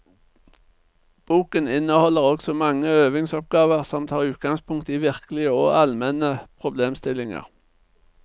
Boken inneholder også mange øvingsoppgaver som tar utgangspunkt i virkelige og allmenne problemstillinger.